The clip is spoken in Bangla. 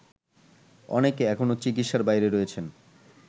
অনেকে এখনো চিকিৎসার বাইরে রয়েছেন